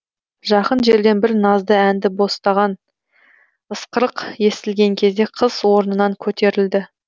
жақын жерден бір назды әнді ысқырық естілген кезде қыз орнынан көтерілді